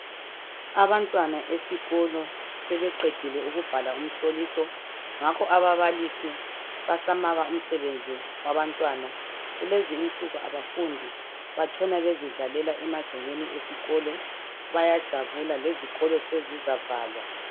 Abantwana esikolo sebeqedile ukubhala umihloliso, ngakho ababalisi basamaka umsebenzi wabantwana. Kulezi insuku kabafundi. Batshona bezidlalela emagcekeni esikolo. Bayajabula. Lezikolo sezizavalwa.